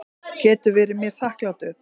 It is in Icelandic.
Getur verið mér þakklátur.